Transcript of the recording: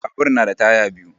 Babur na da taya biyu.